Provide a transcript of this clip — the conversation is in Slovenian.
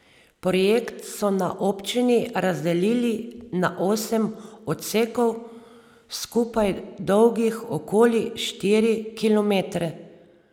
Projekt so na občini razdelili na osem odsekov, skupaj dolgih okoli štiri kilometre.